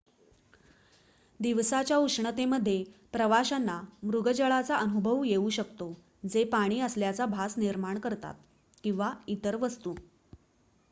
दिवसाच्या उष्णतेमध्ये प्रवाशांना मृगजळाचा अनुभव येऊ शकतो जे पाणी असल्याचा भास निर्माण करतात किंवा इतर वस्तू